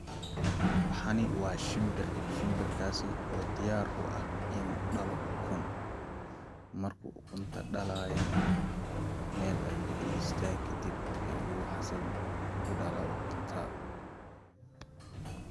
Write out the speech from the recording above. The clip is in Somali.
Waxani waa shimbir, shimbir kaasi oo diyaar u ah inuu dhalo ukun markuu ukunta dhalayo nah meel ayuu fadhistaa kadib xasil u dhalaa ukunta